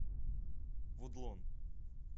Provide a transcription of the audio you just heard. вудлон